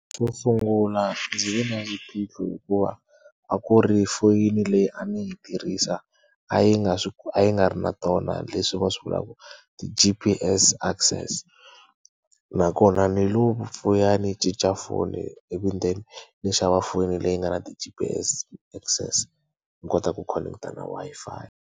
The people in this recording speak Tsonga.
Xo sungula ndzi ve na xiphiqo hikuva a ku ri foyini leyi a ndzi yi tirhisa a yi nga a yi nga ri na tona leswi va swi vulaku ti-G_P_S access. Nakona ndzi lo vuya ndzi cinca foni ivi then ndzi xava foni leyi nga na ti-G_P_S access ndzi kota ku khoneketa na Wi-Fi.